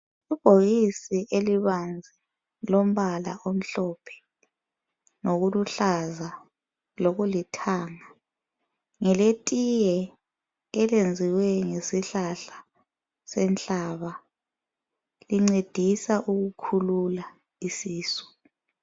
Ibhokisi elibanzi lombala omhlophe lokuluhlaza lokulithanga. Ngeletiye elenziwe ngesihlahla senhlaba. Lincedisa ukukhulula isisu.